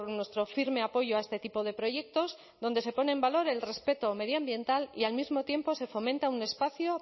nuestro firme apoyo a este tipo de proyectos donde se pone en valor el respeto medioambiental y al mismo tiempo se fomenta un espacio